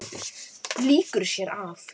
Lýkur sér af.